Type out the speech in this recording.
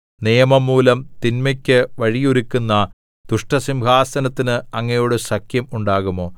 നിയമം മൂലം തിന്മയ്ക്ക് വഴിയൊരുക്കുന്ന ദുഷ്ടസിംഹാസനത്തിന് അങ്ങയോട് സഖ്യം ഉണ്ടാകുമോ